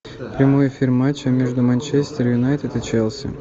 прямой эфир матча между манчестер юнайтед и челси